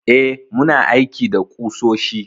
Eh, muna aiki da ƙusoshi.